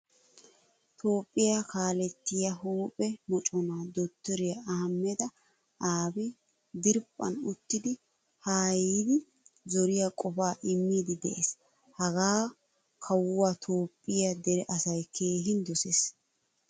Toophphiyaa kaaletiya huuphphe mocona dokteriya Ahmeda Abiy diriphphan uttidi haaayidi zooriya qofaa immidi de'ees. Hagaa kawuwa toophphiyaa dere asay keehin dosees.